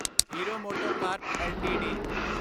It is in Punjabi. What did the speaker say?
hero MotoCorp LTD